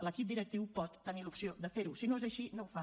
l’equip directiu pot tenir l’opció de ferho si no és així no ho fa